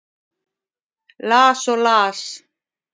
Las og las.